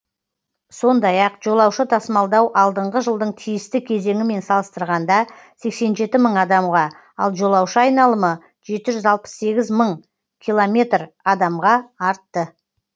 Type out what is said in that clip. сондай ақ жолаушы тасымалдау алдыңғы жылдың тиісті кезеңімен салыстырғанда сексен жеті мың адамға ал жолаушы айналымы жеті жүз алпыс сегіз мың километр адамға артты